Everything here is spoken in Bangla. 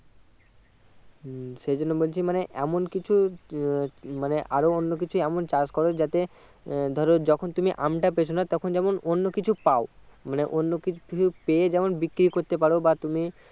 হম সেই জন্য বলছি এমন কিছু আহ মানে আরো অন্য কিছু এমন চাষ করো যাতে আহ ধরো যখন তুমি আম টা পেছনা যেমন অন্যকিছু পাও মানে অন্য কিছু কিছু পেয়ে যেমন বিক্রি করতে পারো বা তুমি